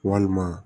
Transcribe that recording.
Walima